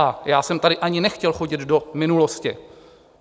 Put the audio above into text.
A já jsem tady ani nechtěl chodit do minulosti.